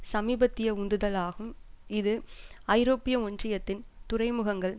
சமீபத்திய உந்துதல் ஆகும் இது ஐரோப்பிய ஒன்றியத்தின் துறைமுகங்கள்